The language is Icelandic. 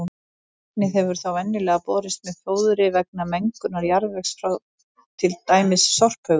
Efnið hefur þá venjulega borist með fóðri vegna mengunar jarðvegs frá til dæmis sorphaugum.